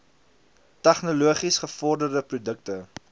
tegnologies gevorderde produkte